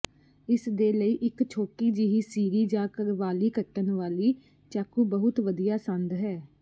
ਇਸਦੇ ਲਈ ਇੱਕ ਛੋਟੀ ਜਿਹੀ ਸਿਰੀ ਜਾਂ ਕਰਵਾਲੀ ਕੱਟਣ ਵਾਲੀ ਚਾਕੂ ਬਹੁਤ ਵਧੀਆ ਸੰਦ ਹੈ